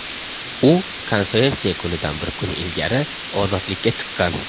U konferensiya kunidan bir kun ilgari ozodlikka chiqqan.